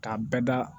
K'a bɛɛ da